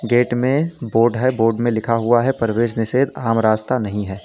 Gate में board है board में लिखा हुआ है प्रवेश निषेध आम रास्ता नहीं है।